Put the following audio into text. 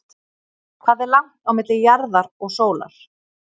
Hvað er langt á milli jarðar og sólar?